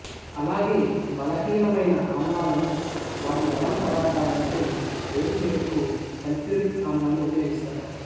అలాగే బలహీన మైన ఆమ్లాలను వాటి లవణ పదార్థాల నుండి వేరు చేయుటకు సల్ఫ్యూరిక్ ఆమ్లాన్ని ఉపయోగిస్తారు